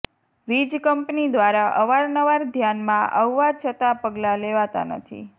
વીજ કંપની દ્વારા અવારનવાર ધ્યાનમાં અવવા છતા પગલાં લેવાતાં નથી